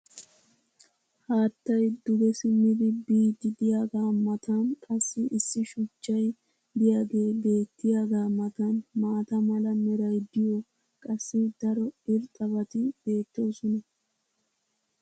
Haattay duge simmidi biidi diyaagaa matan qassi issi shuchchay diyaagee beettiyaagaa matan maata mala meray diyo qassi daro irxxabati beetoosona.